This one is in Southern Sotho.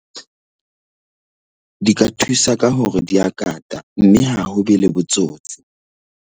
Di di ka thusa ka hore di a kata mme ha ho be le botsotsi.